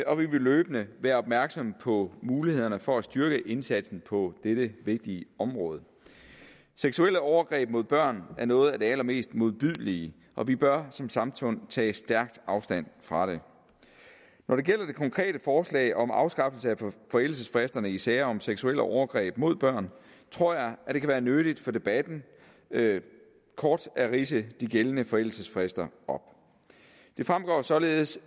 og vi vil løbende være opmærksomme på mulighederne for at styrke indsatsen på dette vigtige område seksuelle overgreb mod børn er noget af det allermest modbydelige og vi bør som samfund tage stærkt afstand fra det når det gælder det konkrete forslag om afskaffelse af forældelsesfristerne i sager om seksuelle overgreb mod børn tror jeg det kan være nyttigt for debatten kort at ridse de gældende forældelsesfrister op det fremgår således